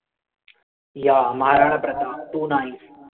yeah Maharana Pratap too nice